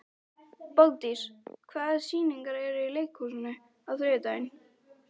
Bogdís, hvaða sýningar eru í leikhúsinu á þriðjudaginn?